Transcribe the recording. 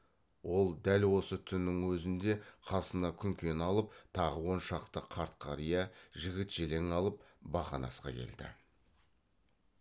ол дәл осы түннің өзінде қасына күнкені алып тағы он шақты қарт қария жігіт желең алып бақанасқа келді